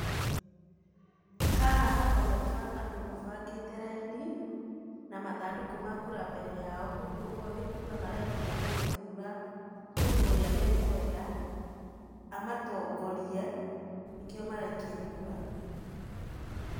Haha haroneka andũ mabangĩte raini na mathandũkũ ma kura mbere yao, ũguo nĩ kura maraikia magĩthura mũndũ ũrĩa mekwenda amatongorie nĩkĩo maraikia kura.